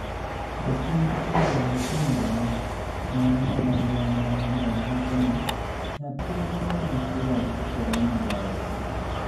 japuonij Poul Mtinidwa mar mbalarianiy ma Lonidoni wacho nii, "niyathi ma dichwo kethore moloyo niyako.